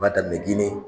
U b'a daminɛ gine